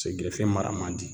gerefe mara man di